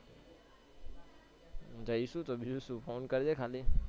જઈશું તો બીજું શૂ phone કરજે ખાલી